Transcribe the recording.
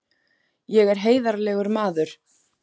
Ég er heiðarlegur maður!